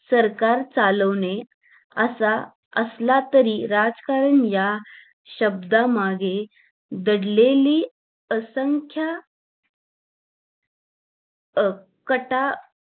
सरकार चालवणे असा असला तरी राजकारण या शब्दामागे दडलेली असंख्य